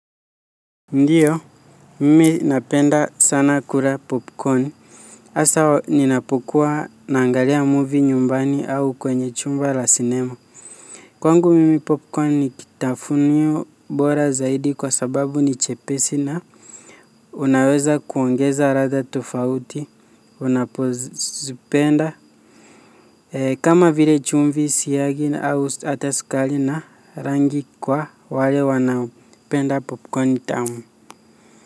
Ndiyo, mimi napenda sana kula popcorn hasa ninapokuwa naangalia movie nyumbani au kwenye chumba cha cinema. Kwangu mimi popcorn ni kitafunwa bora zaidi kwa sababu ni chepesi na unaweza kuongeza ladha tofauti unapozipenda ee, kama vile chumvi, siagi au hata sukali na rangi kwa wale wanaopenda popcorn tamu.